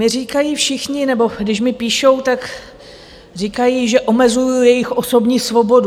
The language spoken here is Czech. Mně říkají všichni, nebo když mi píšou, tak říkají, že omezuji jejich osobní svobodu.